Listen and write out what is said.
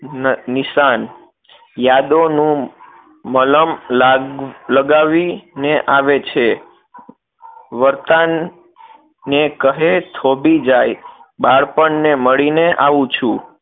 નિશાન યાદોનું મલમ લાગવી ને આવે છે વર્તનને કહે થોભી જાય બાળપણને મળીને આવું છું